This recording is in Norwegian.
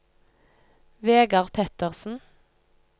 Vegar Pettersen